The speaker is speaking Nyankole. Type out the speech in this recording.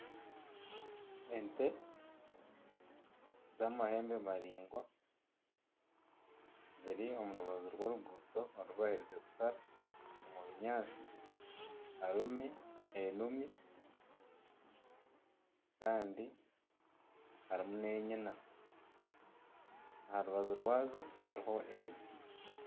Ente z'amahembe maraingwa ziri omu rubaju rw'oruguuto orubaherize kushara omu binyaatsi harimu enumi kandi harimu n'enyana aha rubaju rwazo hariho emiti.